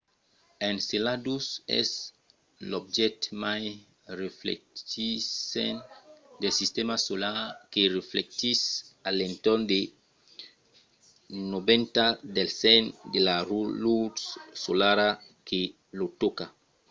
enceladus es l’objècte mai reflectissent del sistèma solar que reflectís a l'entorn de 90 del cent de la lutz solara que lo tòca